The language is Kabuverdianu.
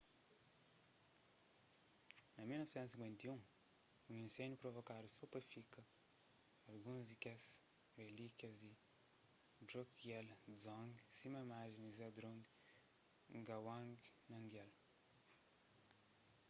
na 1951 un inséndiu provokadu so pa fika alguns di kes relíkias di drukgyal dzong sima imajen di zhabdrung ngawang namgyal